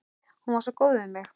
Hún var svo góð við mig.